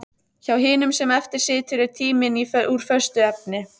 Hjá hinum sem eftir situr er tíminn úr föstu efni.